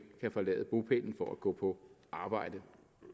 kan forlade bopælen for at gå på arbejde